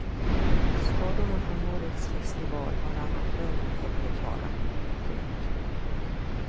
Skadorna från årets festival har arrangörerna fått betala. punkt